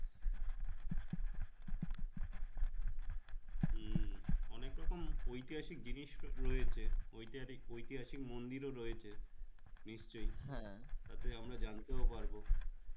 হম অনেক রকম ঐতিহাসিক জিনিস রয়েছে ঐতিহাসিক ঐতিহাসিক মন্দির ও রয়েছে নিশ্চয় হ্যাঁ তাতে আমরা জানতে পারবো